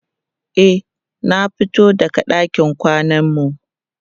e na fito daga ɗakin kwanan mu